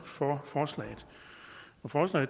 for